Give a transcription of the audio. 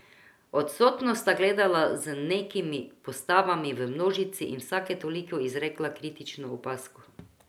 Odsotno sta gledala za nekimi postavami v množici in vsake toliko izrekla kritično opazko.